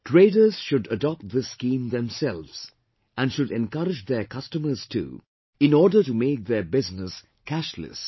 Traders should adopt this scheme themselves and should encourage their customers too in order to make their business cashless